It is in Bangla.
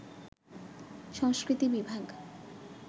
সংস্কৃতি বিভাগ